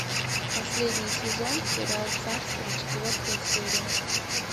последний сезон сериал царство четвертая серия